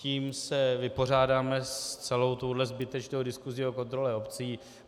Tím se vypořádáme s celou touhle zbytečnou diskusí o kontrole obcí.